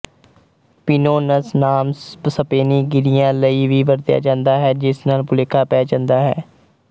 pinons ਨਾਮ ਸਪੇਨੀ ਗੀਰੀਆਂ ਲਈ ਵੀ ਵਰਤਿਆ ਜਾਂਦਾ ਹੈ ਜਿਸ ਨਾਲ ਭੁਲੇਖਾ ਪੈ ਜਾਂਦਾ ਹੈ